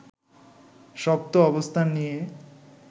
শক্ত অবস্থান নিয়ে